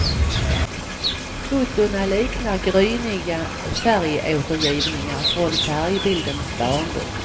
Fotona liknar gryniga färgåtergivningar från färgbildens barndom.